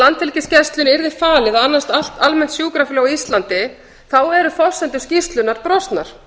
landhelgisgæslunni yrði falið að annast allt almennt sjúkraflug á íslandi eru forsendur skýrslunnar